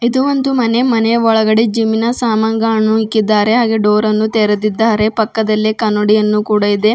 ಇದು ಒಂದು ಮನೆ ಮನೆಯ ಒಳಗಡೆ ಜಿಮ್ ಇನ ಸಾಮಾನ್ಗಳನ್ನು ಇಕ್ಕಿದ್ದಾರೆ ಹಾಗೆ ಡೋರ್ ಅನ್ನು ತೆರೆದಿದ್ದಾರೆ ಪಕ್ಕದಲ್ಲಿ ಕನ್ನಡಿಯನ್ನು ಕೂಡ ಇದೆ.